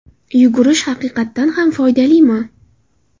Yugurish haqiqatan ham foydalimi?.